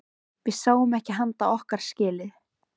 Við sáum ekki handa okkar skil.